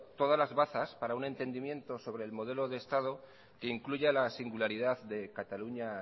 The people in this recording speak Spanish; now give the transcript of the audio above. todas las bazas para un entendimiento sobre el modelo de estado que incluya la singularidad de cataluña